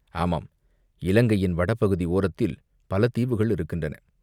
"ஆமாம், இலங்கையின் வடபகுதி ஓரத்தில் பல தீவுகள் இருக்கின்றன.